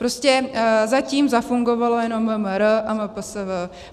Prostě zatím zafungovalo jenom MMR a MPSV.